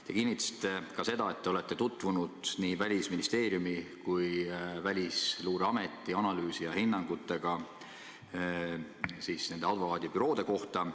Te kinnitasite ka seda, et olete tutvunud nii Välisministeeriumi kui ka Välisluureameti analüüsi ja hinnangutega nende advokaadibüroode kohta.